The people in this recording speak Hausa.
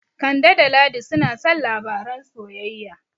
Kande da Ladi suna son labaran soyayya.